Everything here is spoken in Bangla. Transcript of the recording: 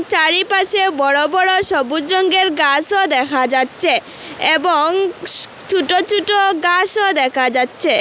চারিপাশে বড় বড় সবুজ রংয়ের গাছও দেখা যাচ্ছে এবং ছোট ছোট গাছও দেখা যাচ্ছে।